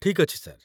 ଠିକ୍ ଅଛି, ସାର୍ ।